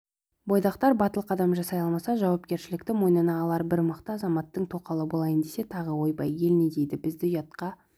бойдақтар батыл қадам жасай алмаса жауапкершілікті мойнына алар бір мықты азаматтың тоқалы болайын десе тағы ойбай ел не дейді бізді ұятқа